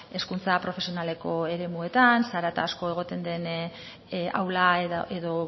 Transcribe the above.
hezkuntza profesionaleko eremuetan zarata asko egoten den aula edo